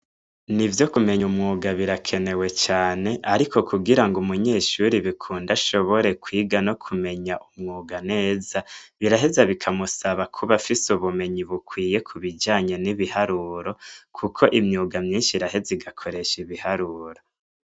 Ni vyo kumenya umwuga birakenewe cane, ariko kugira ngo umunyeshuri bikunda ashobore kwiga no kumenya umwuga neza biraheza bikamusaba kuba fise ubumenyi bukwiye kubijanye n'ibiharuro, kuko imyuga myinshi rahe ze igakoresha ibiharuro.